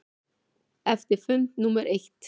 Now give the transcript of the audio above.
Eftir fund númer eitt.